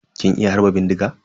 Kin iya harba bindiga?